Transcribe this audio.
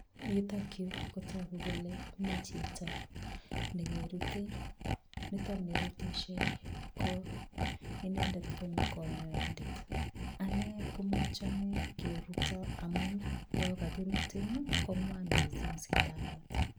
Yutokyu kotogu kole mi chito nekerutei, nitokni rutishei ko inendet ko konyoindet. Ane komachame keruto amun yokakirutin, kong'wan mising sindanot.